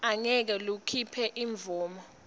angeke likhiphe imvumo